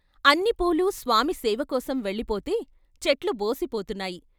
అన్ని పూలూ స్వామి సేవకోసం వెళ్ళిపోతే చెట్లు బోసిపోతున్నాయి.